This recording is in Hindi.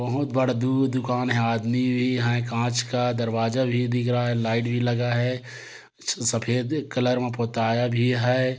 बहुत बड़ा दू- दुकान है आदमी भी है काँच का दरवाजा भी दिख रहा है लाइट भी लगा है सफ़ेद कलर में पोताया भी हैं।